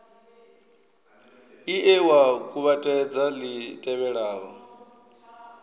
ie wa kuvhatedza li tevhelaho